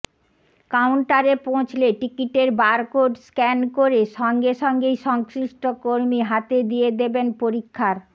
কাউন্টারে পৌঁছলে টিকিটের বারকোড স্ক্যান করে সঙ্গে সঙ্গেই সংশ্লিষ্ট কর্মী হাতে দিয়ে দেবেন পরীক্ষার